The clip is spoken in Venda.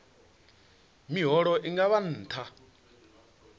miholo i nga vha nṱha